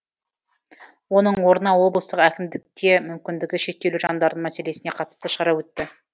оның орнына облыстық әкімдікте мүмкіндігі шектеулі жандардың мәселесіне қатысты шара өтті